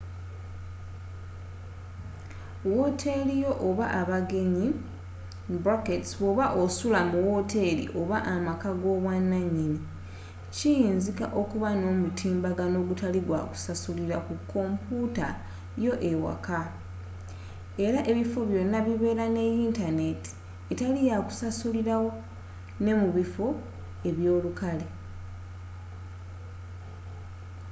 wooteli yo oba abagenyi bwoba osula mu wooteri oba amaka go ab’obwananyini kiyinzika okuba n’omutimbagano ogutali gwa kusasulirwa ku komputa yo eyewaka era ebifo byona bibera ne yintaneti etali yakusasulirwa ne mubifo ebyolukale